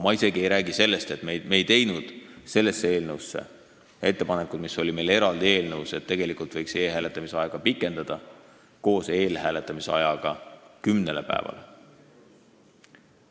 Ma ei räägi isegi sellest, et me ei teinud selle eelnõu kohta ettepanekuid sel teemal, mida me käsitlesime eraldi eelnõus, et tegelikult võiks e-hääletamise aega koos eelhääletamise ajaga pikendada kümnele päevale.